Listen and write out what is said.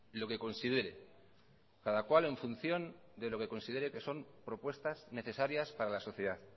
lo que considere cada cual en función de lo que considere que son propuestas necesarias para la sociedad